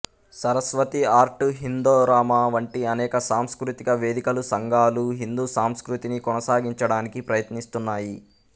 Saraswati art హిందోరామా వంటి అనేక సాంస్కృతిక వేదికలు సంఘాలు హిందూ సంస్కృతిని కొనసాగించడానికి ప్రయత్నిస్తున్నాయి